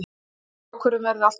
Slík ákvörðun verði alltaf sár.